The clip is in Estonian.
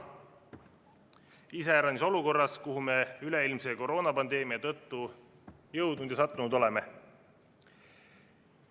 Seda iseäranis olukorras, kuhu me üleilmse koroonapandeemia tõttu sattunud oleme.